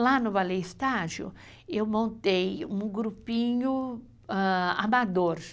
Lá no Ballet Estágio, eu montei um grupinho amador.